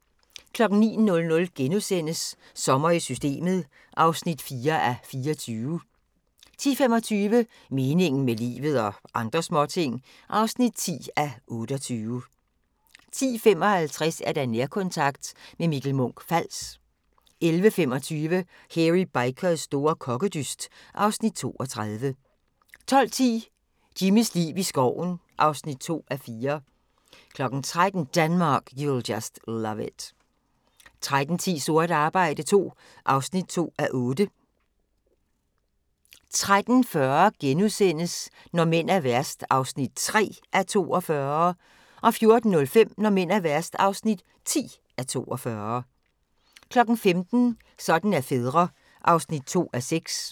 09:00: Sommer i Systemet (4:24)* 10:25: Meningen med livet – og andre småting (10:28) 10:55: Nærkontakt – med Mikke Munch-Fals 11:25: Hairy Bikers store kokkedyst (Afs. 32) 12:10: Jimmys liv i skoven (2:4) 13:00: Denmark, you'll just love it 13:10: Sort arbejde II (2:8) 13:40: Når mænd er værst (3:42)* 14:05: Når mænd er værst (10:42) 15:00: Sådan er fædre (2:6)